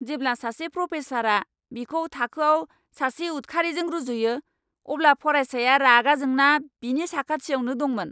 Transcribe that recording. जेब्ला सासे प्र'फेसारआ बिखौ थाखोआव सासे उद्खारिजों रुजुयो, अब्ला फरायसाया रागा जोंना बिनि साखाथियावनो दंमोन।